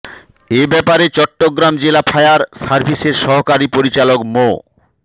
এ ব্যাপারে চট্টগ্রাম জেলা ফায়ার সার্ভিসের সহকারী পরিচালক মো